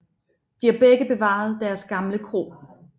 De har begge bevaret deres gamle kro